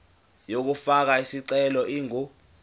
yokufaka isicelo ingu